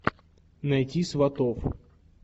найти сватов